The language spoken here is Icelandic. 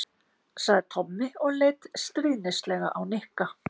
sagði Tommi og leit stríðnislega á Nikka.